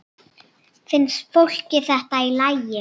Finnst fólki þetta í lagi?